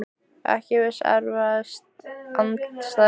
Ekki viss Erfiðasti andstæðingur?